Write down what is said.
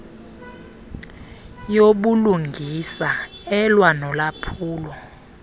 yobulungisa elwa nolwaphulo